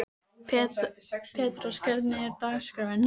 Petrós, hvernig er dagskráin?